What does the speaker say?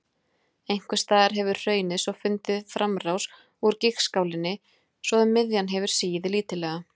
Einhvers staðar hefur hraunið svo fundið framrás úr gígskálinni, svo að miðjan hefur sigið lítillega.